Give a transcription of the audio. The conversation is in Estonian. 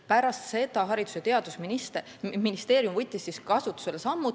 Pärast seda võttis Haridus- ja Teadusministeerium meetmeid.